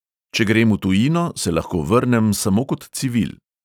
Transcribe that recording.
Če grem v tujino, se lahko vrnem samo kot civil.